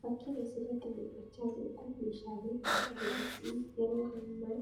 Fakkiin as irratti mul'achaa jiru kun meeshaalee 'elektirooniksii' yeroo hammaa